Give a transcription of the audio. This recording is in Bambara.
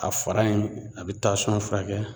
A fara in a bi tasɔn furakɛ